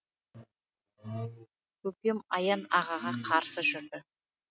көкем аян ағаға қарсы жүрді